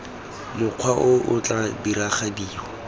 mokgwa o o tla diragadiwa